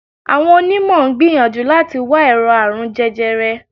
Àwọn onímọ̀ ń gbìyànjú láti wá ẹ̀rọ̀ àrùn jẹjẹrẹ